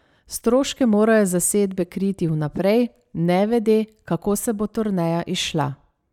Stroške morajo zasedbe kriti vnaprej, nevede, kako se bo turneja izšla.